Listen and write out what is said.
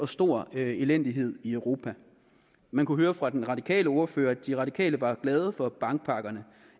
stor elendighed i europa man kunne høre fra den radikale ordfører at de radikale var glade for bankpakkerne